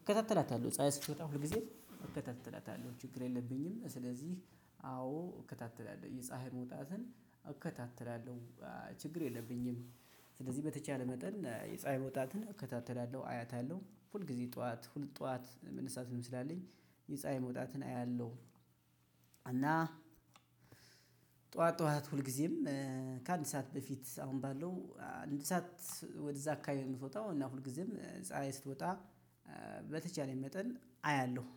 እከታተላታለሁ ፀሀይ ስትወጣ ሁል ጊዜ እከታተላታለሁ። ችግር የለብኝም። ስለዚህ አዎ እከታተላለሁ የፀሀይ መውጣትን እከታተላለሁ። ችግር የለብኝም። ስለዚህ በተቻለ መጠን የፀሀይ መውጣትን እከታተላለሁ አያታለሁ ሁል ጊዜ ጠዋት ሁል ጠዋት መነሳትም ስላለኝ የፀሀይ መውጣትን አያለሁ። እና ጠዋት ጠዋት ሁልጊዜም ከአንድ ሰዓት በፊት አሁን ባለው አንድ ሰዓት ወደዛ አካባቢ ነው ምትወጣው እና ሁልጊዜም ፀሀይ ስትወጣ። በተቻለኝ መጠን አያለሁ